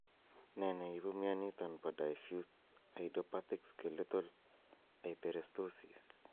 Ne ne ipu mioniton po Diffuse idiopathic skeletal hyperostosis?